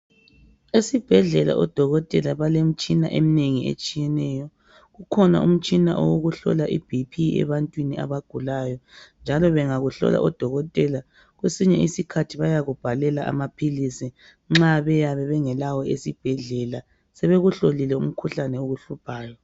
Esibhedlela odokotela balemitshina eminengi, etshiyeneyo. Ukhona umtshina wokuhlola iBP.ebantwini abagulayo, njalo bangakuhlola odokotela, kwesinye isikhathi bayakubhalela amaphilisi. Nxa beyabe bengelawo esibhedlela. Sebekuhlolile umkhuhlane okuhluphayo.